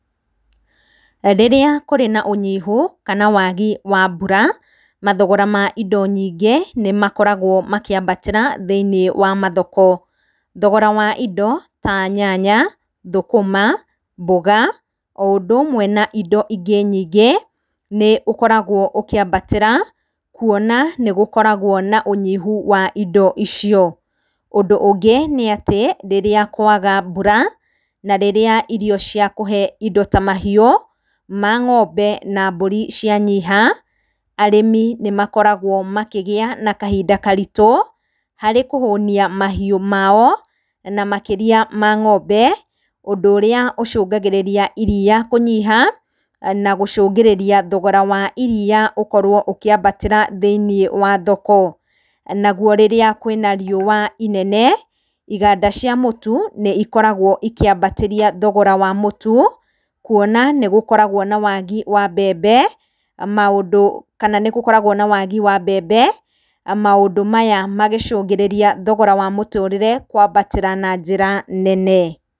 Rĩrĩa kũrĩ na ũnyihu kana wagi wa mbura mathogora ma indo nyingĩ nĩmakoragwo makĩambatĩra thĩinĩ wa mathoko. Thogora wa indo ta nyanya, thũkũma, mboga o ũndũmwe na indo ingĩ nyingĩ nĩũkoragwo ũkĩambatĩra kuona nĩgũkoragwo na ũnyihu wa indo icio. Ũndũ ũngĩ nĩ atĩ rĩrĩa kwaga mbura na rĩrĩa irio cia kũhe indo ta mahiũ ma ng'ombe na mbũri cianyiha, arĩmi nĩmakoragwo makĩgĩa na kahinda karitũ harĩ kũhũnia mahiũ mao na makĩria ma ng'ombe, ũndũ ũrĩa ũcungagĩrĩria iriya kũnyiha na gũcũngĩrĩria thogora wa iriya ũkorwo ũkĩambatĩra thĩinĩ wa thoko. Naguo rĩrĩa kwĩna riũwa inene iganda cia mũtu nĩikoragwo ikĩambatĩria thogora wa mũtu kuona nĩgũkoragwo na wagi wa mbembe maũndũ maya magĩcũngĩrĩria thogora wa mũtũrĩre kwambatĩra na njĩra nene.